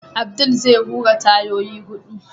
Abdul zai hura tayoyi hudu.